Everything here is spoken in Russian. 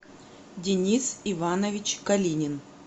денис иванович калинин